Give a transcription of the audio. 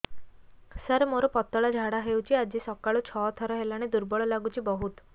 ସାର ମୋର ପତଳା ଝାଡା ହେଉଛି ଆଜି ସକାଳୁ ଛଅ ଥର ହେଲାଣି ଦୁର୍ବଳ ଲାଗୁଚି ବହୁତ